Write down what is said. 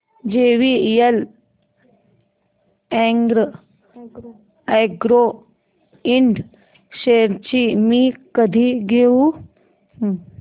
JVL agro ind shares मी कधी घेऊ